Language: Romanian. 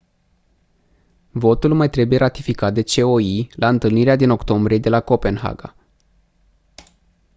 votul mai trebuie ratificat de coi la întâlnirea din octombrie de la copenhaga